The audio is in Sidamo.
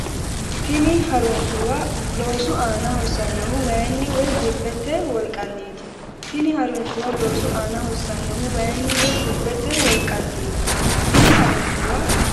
Tini ha’rinshuwa loosu aana hossannohu wayinni woy bubbete wolqanniiti Tini ha’rinshuwa loosu aana hossannohu wayinni woy bubbete wolqanniiti Tini ha’rinshuwa.